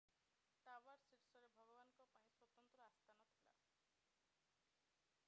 tower ଶୀର୍ଷରେ ଭଗବାନଙ୍କ ପାଇଁ ସ୍ୱତନ୍ତ୍ର ଆସ୍ଥାନ ଥିଲା